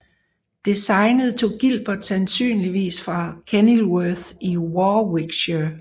Designet tog Gilbert sandsynligvis fra Kenilworth i Warwickshire